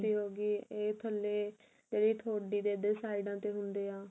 cheeks ਦੀ ਹੋ ਗਈ ਇਹ ਥਲੇ ਇਹਦੀ ਥੋੜੀ ਦੇ ਇਹਦੇ ਸਾਇਡਾ ਤੇ ਹੁੰਦੇ ਆ